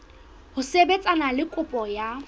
ho sebetsana le kopo ya